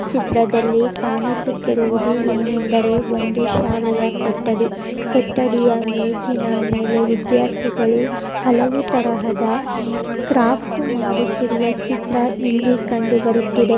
ಚಿತ್ರದಲ್ಲಿ ಕಾಣಿಸುತ್ತಿರುವುದೇನೆಂದರೆ ಒಂದು ಶಾಲೆಯ ಕೂಠಡಿ. ಕೂಠಡಿಯ ಮೇಜಿನ ಮೇಲೆ ವಿದ್ಯಾರ್ಥಿಗಳು ಹಲವು ತರಹದ ಕ್ರಾಫ್ಟ್ ಮಾಡುತ್ತಿರುವ ಚಿತ್ರ ಇಲ್ಲಿ ಕಂಡು ಬರುತ್ತಿದೆ.